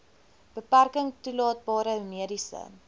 beperking toelaatbare mediese